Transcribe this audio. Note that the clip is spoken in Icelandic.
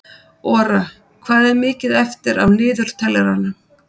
Ora, hvað er mikið eftir af niðurteljaranum?